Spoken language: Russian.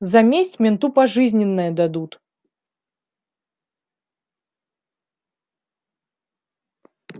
за месть менту пожизненное дадут